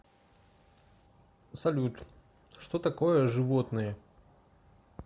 салют что такое животные